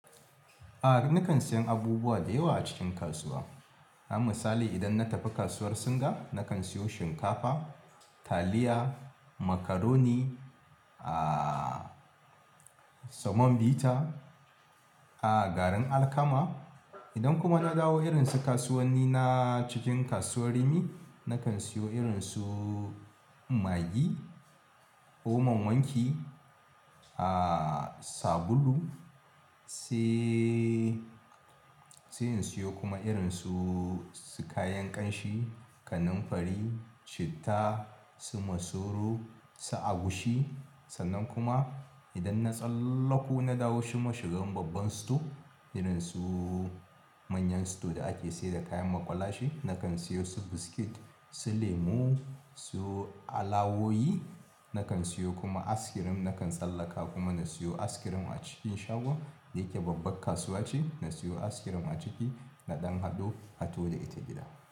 A'a nakan siyan abubuwa da yawa a cikin kasuwa. Na misali idan na tafi kasuwar Singa nakan siyo shinkafa, taliya, macaroni, ah samon vita, a'a garin alkama. Idan kuma na dawo irin su kasuwanni na cikin kasuwar Rimi nakan siyo irin su magi, Omo n wanki, ah sabulu, sai sai in siyo kuma irin su kayan ƙanshi, kananfari, citta, su masoro, su agushi. Sannan kuma idan na tsallaku na dawo shiga babban store irin su manyan store da ake sayar da kayan maƙwalashe, nakan siyo su biscuit, su lemu, su alawawoyi. Nakan siyo kuma ice cream, nakan tsallaka kuma na siyo Ice cream a cikin shagon da yake babban kasuwa ce. Na siyo ice cream a ciki na ɗan haɗo, haɗo da ita gida.